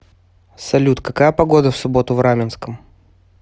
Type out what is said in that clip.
салют какая погода в субботу в раменском